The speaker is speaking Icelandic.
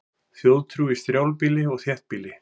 Þjóðtrú í strjálbýli og þéttbýli